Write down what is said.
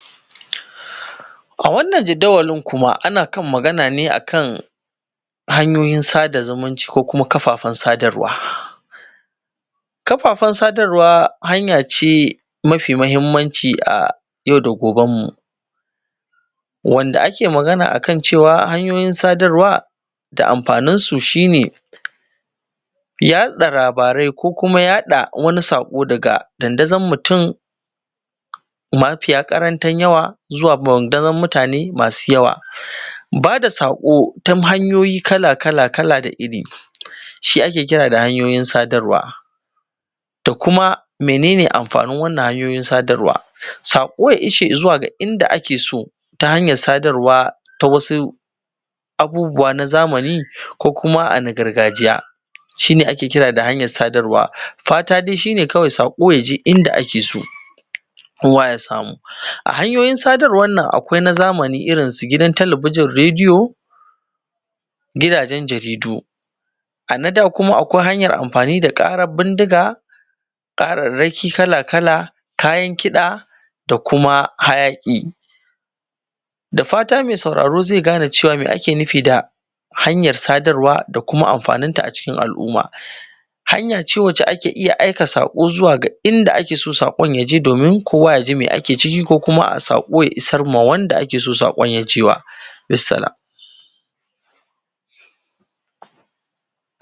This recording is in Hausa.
Bambance-bambance a kan magana ne a kan hanyoyin sada zumunci ko kuma kafafan sadarwa. Kafafan sadarwa hanya ce mafi mahimmanci a yau da gobenmu, wanda ake magana a kan cewa hanyoyin sadarwa da amfaninsu shi ne yaɗa labarai ko kuma yaɗa wani saƙo daga dandazan mutum mafiya ƙaranta yawa zuwa dandazon mutane masu yawa. Bada saƙo ta hanyoyi kala-kala da iri shi ake kira da hanyoyin sadarwa, da kuma mene ne amfanin wanan hanyoyin sadarwa? Saƙo ya isa zuwa ga inda ake so ta hanyar sadarwa ta wasu abubuwa na zamani ko kuma na gargajiya, shi ne ake kira da hanyar sadarwa. Fata dai shi ne kawai saƙo ya je inda ake so, kowa ya samu. A hanyoyin sadarwan nan, akwai na zamani irin su gidan telebijin, radiyo, gidajen jaridu; a na da kuma akwai hanyar amfani da ƙarar bindiga, ƙararraki kala-kala, kayan kiɗa, da kuma hayaƙi. Da fata mai sauraro zai gane cewa me ake nufi da hanyar sadarwa da kuma amfaninta a cikin al'umma. Hanya ce wacce ake iya aika saƙo zuwa ga inda ake so saƙon ya je, domin kowa ya ji me ake ciki, ko kuma saƙo ya isar ma wanda ake so saƙon ya je ma. Bisalam.